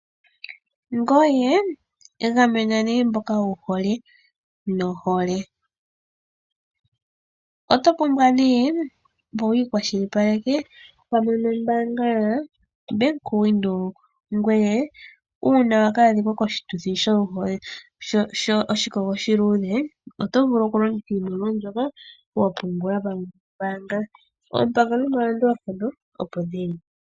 Ngoye gamena mboka wu hole nohole. Oto pumbwa oku ikwashilipaleka pamwe noBank Windhoek, ngoye uuna wa ka adhika koshituthi shoshikogo oshiluudhe, oto vulu okulongitha iimaliwa mbyoka wa pungula pamwe nombaanga. Oompango nomalandulathano opo dhi li.